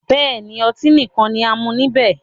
Bẹ́ẹ̀ni, ọtí nìkan ni a mú níbẹ̀